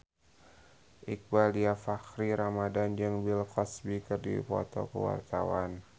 Iqbaal Dhiafakhri Ramadhan jeung Bill Cosby keur dipoto ku wartawan